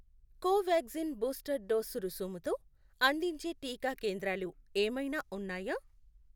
Covaxin booster dose రుసుముతో అందించే టీకా కేంద్రాలు ఏమైనా ఉన్నాయా?